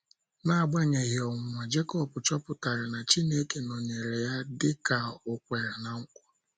N’agbanyeghị ọnwụnwa, Jekọb chọpụtara na Chineke nọnyeere ya dị ka o kwere ná nkwa.